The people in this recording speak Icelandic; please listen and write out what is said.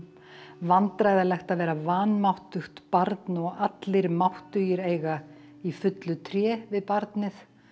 vandræðalegt að vera vanmáttugt barn og allir máttugir eiga í fullu tré við barnið